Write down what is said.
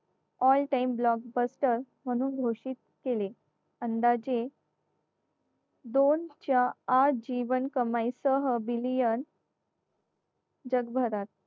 all time blockbuster म्हणून घोषित केले अंदाजे दोन च्या अ जीवन कमाई सह billion जगभरात